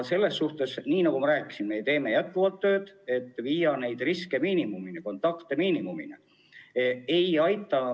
Selles suhtes, nagu ma rääkisin, teeme jätkuvalt tööd selle nimel, et viia riskid, kontaktid miinimumini.